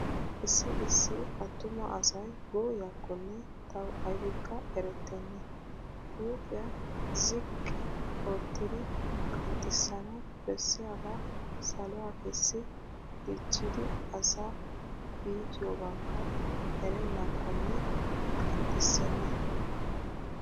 Issi issi attuma asay gooyyiyakkonne tawu aybikka erettnna. Huuphiya ziqqi oottidi qanxxissanawu bessiyagaa saluwa kessi dichchidi asa iitiyobakka erennaakkonne qanxxissenna.